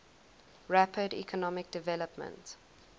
rapid economic development